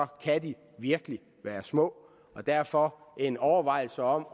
kan de virkelig være små derfor vil en overvejelse om